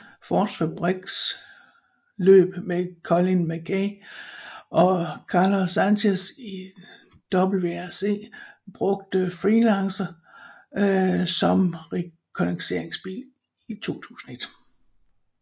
Fords fabriksløb med Colin McRae og Carlos Sainz i WRC brugte Freelander som rekognosceringsbil i 2001